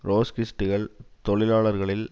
ட்ரொட்ஸ்கிஸ்டுகள் தொழிலாளர்களில்